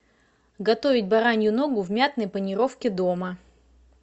готовить баранью ногу в мятной панировке дома